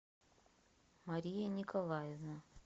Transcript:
мария николаевна